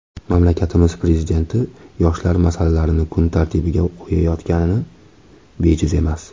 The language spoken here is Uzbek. Mamlakatimiz Prezidenti yoshlar masalalarini kun tartibiga qo‘yayotgani bejiz emas.